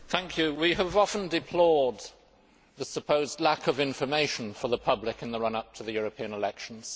Mr President, we have often deplored the supposed lack of information for the public in the run up to the European elections.